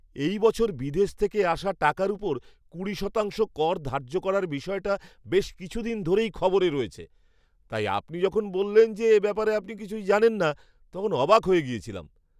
এই বছর বিদেশ থেকে আসা টাকার ওপর কুড়ি শতাংশ কর ধার্য করার বিষয়টা বেশ কিছু দিন ধরেই খবরে রয়েছে, তাই আপনি যখন বললেন যে এ ব্যাপারে আপনি কিছু জানেন না তখন অবাক হয়ে গেছিলাম।